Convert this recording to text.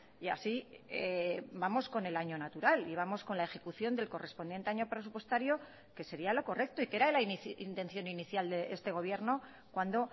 y así vamos con el año natural y vamos con la ejecución del correspondiente año presupuestario que sería lo correcto y que era la intención inicial de este gobierno cuando